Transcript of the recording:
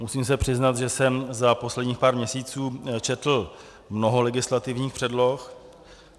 Musím se přiznat, že jsem za posledních pár měsíců četl mnoho legislativních předloh.